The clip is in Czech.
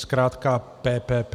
Zkrátka PPP.